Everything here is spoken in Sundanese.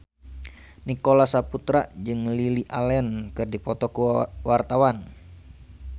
Nicholas Saputra jeung Lily Allen keur dipoto ku wartawan